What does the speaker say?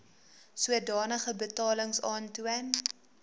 sodanige betalings aantoon